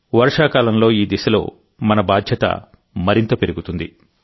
వర్షాకాలంలోఈ దిశలోమన బాధ్యత మరింత పెరుగుతుంది